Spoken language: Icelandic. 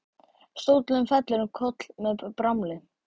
Stóllinn fellur um koll með bramli.